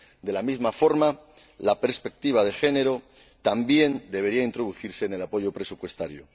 De la misma forma, la perspectiva de género también debería introducirse en el apoyo presupuestario.